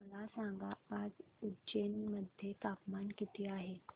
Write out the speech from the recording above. मला सांगा आज उज्जैन मध्ये तापमान किती आहे